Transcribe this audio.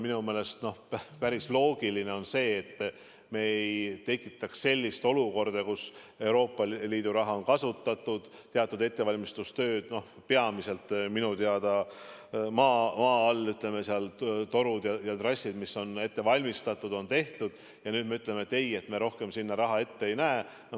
Minu meelest on päris loogiline, et me ei tekitaks sellist olukorda, kus Euroopa Liidu raha on kasutatud, teatud ettevalmistustööd on tehtud, peamiselt minu teada maa all, torud ja trassid on ette valmistatud, ja nüüd me ütleme, et ei, me rohkem sinna raha ette ei näe.